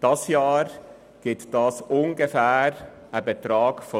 In diesem Jahr kommt ein Betrag von ungefähr 36 Mio. Franken zusammen.